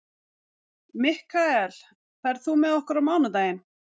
Mikkael, ferð þú með okkur á mánudaginn?